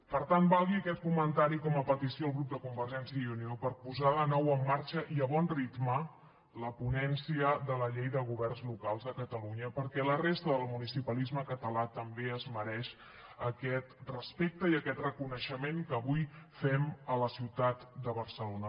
per tant valgui aquest comentari com a petició al grup de convergència i unió per posar de nou en marxa i a bon ritme la ponència de la llei de governs locals de catalunya perquè la resta del municipalisme català també es mereix aquest respecte i aquest reconeixement que avui fem a la ciutat de barcelona